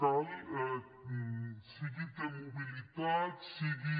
cal sigui t mobilitat sigui